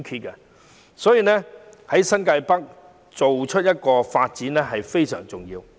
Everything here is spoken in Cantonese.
因此，新界北的發展非常重要。